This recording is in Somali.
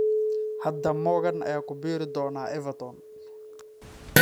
Hadda Morgan ayaa ku biiri doona Everton.